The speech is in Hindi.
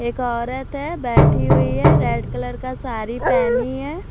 एक औरत है बैठी हुई है रेड कलर का साड़ी पहनी है।